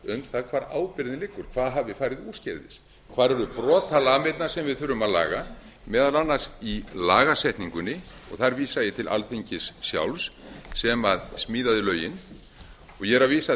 um það hvar ábyrgðin liggur hvað hafi farið úrskeiðis hvar eru brotalamirnar sem við þurfum að laga meðal annars í lagasetningu þar vísa ég til alþingis sjálfs sem smíðaði lögin og ég vísa